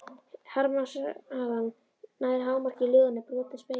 Harmsagan nær hámarki í ljóðinu Brotinn spegill.